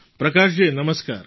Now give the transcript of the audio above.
પ્રકાશજી નમસ્કાર